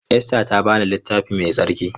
Esther ta ba ni Littafi Mai Tsarki.